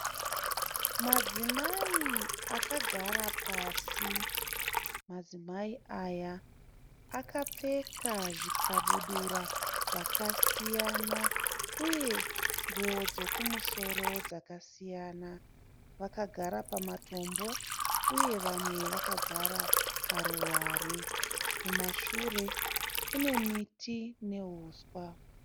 Madzimai akagara pasi. Madzimai aya akapfeka zvikabudura zvakasiyana uye nguwo dzekumusoro dzakasiyana. Vakagara pamatombo uye vamwe vakagara paruware. Kumashure kune miti nehuswa.